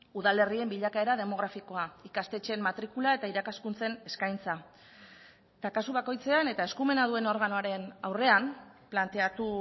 udalerrien bilakaera demografikoa ikastetxeen matrikula eta irakaskuntzen eskaintza eta kasu bakoitzean eta eskumena duen organoaren aurrean planteatu